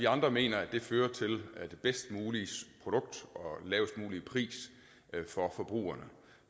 andre mener at det fører til det bedst mulige produkt og den lavest mulige pris for forbrugerne